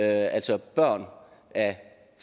altså børn af